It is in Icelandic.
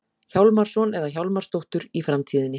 Hjálmarsson eða Hjálmarsdóttur í framtíðinni.